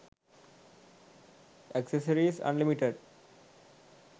accessories unlimited